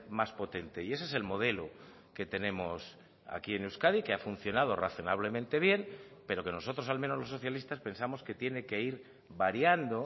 más potente y ese es el modelo que tenemos aquí en euskadi que ha funcionado razonablemente bien pero que nosotros al menos los socialistas pensamos que tiene que ir variando